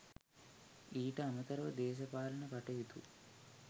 ඊට අමතරව දේශපාලන කටයුතු